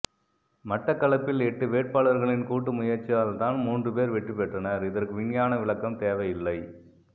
மட்டக்களப்பில் எட்டு வேட்பாளர்களின் கூட்டு முயற்சியால தான் மூன்றுபேர் வெற்றிபெற்றனர் இதற்கு விஞ்ஞான விளக்கம் தேவையில்லை